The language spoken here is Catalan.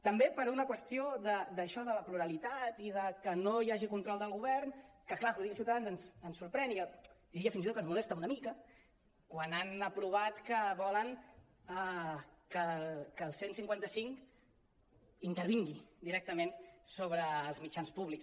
també per una qüestió d’això de la pluralitat i de que no hi hagi control del go·vern que clar que ho digui ciutadans ens sorprèn i diria fins i tot que ens molesta una mica quan han aprovat que volen que el cent i cinquanta cinc intervingui directament sobre els mitjans públics